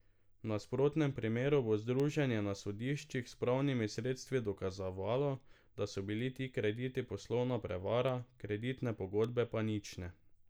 V nasprotnem primeru bo združenje na sodišču s pravnimi sredstvi dokazovalo, da so bili ti krediti poslovna prevara, kreditne pogodbe pa nične.